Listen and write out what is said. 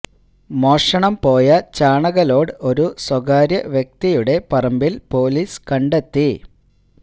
മോഷണം പോയ ചാണക ലോഡ് ഒരു സ്വകാര്യ വ്യക്തിയുടെ പറമ്പില് പോലീസ് കണ്ടെത്തി